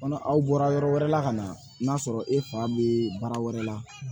Kɔnɔ aw bɔra yɔrɔ wɛrɛ la ka na n'a sɔrɔ e fa bɛ baara wɛrɛ la